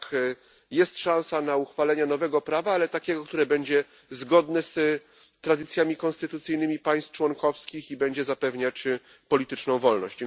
Tak, jest szansa na uchwalenie nowego prawa, ale takiego, które będzie zgodne z tradycjami konstytucyjnymi państw członkowskich i będzie zapewniać polityczną wolność.